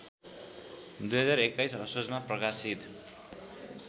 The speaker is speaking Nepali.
२०२१ असोजमा प्रकाशित